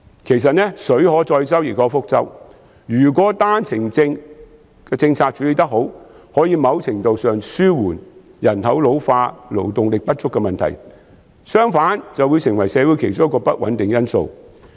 其實水能載舟，亦能覆舟，如果單程證政策處理得好，可以某程度上紓緩人口老化、勞動力不足的問題，相反，便會成為社會其中一個不穩定因素。